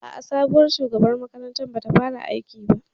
A'a, sabuwar shugabar makarantar bata fara aiki ba